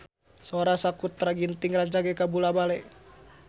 Sora Sakutra Ginting rancage kabula-bale